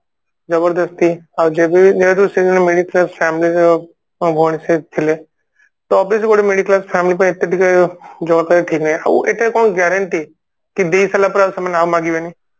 ଜବରଦସ୍ତି ଆଉ ଯେବେ ମିଳିଥିବା family ର ମୋ ଭଉଣୀ ସେଇଠି ଥିଲେ ତ obviously ସେଟା middle class family ଏତେ ପାଇଁ ଟିକେ ଜମା ବି ଠିକ ନାଇଁ ଆଉ ଆଏତ କଣ Guarantee କି ଦେଇସାରିଲା ପରେ ଆଉ ସେମାନେ ମାଗିବେନି